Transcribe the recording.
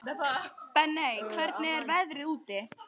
Benney, hvernig er veðrið úti?